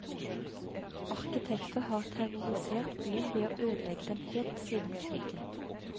Arkitekter har terrorisert byen ved å ødelegge den helt siden krigen.